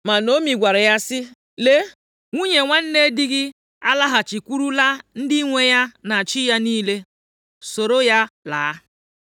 Ma Naomi gwara ya sị, “Lee, nwunye nwanne di gị alaghachikwurula ndị nwe ya na chi ya niile, soro ya laa.”